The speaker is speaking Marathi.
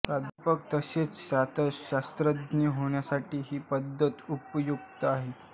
प्राध्यापक तसेच शास्त्रज्ञ होण्यासाठी ही पदवी उपयुक्त आहे